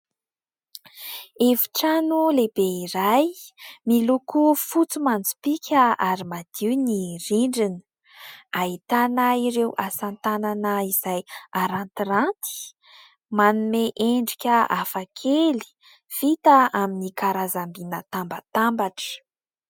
Efitrano lehibe iray miloko fotsy manjopiaka ary madio ny rindrina ; ahitana ireo asa tanana izay arantiraty manome endrika hafakely vita amin'ny karazam-by natambatambatra.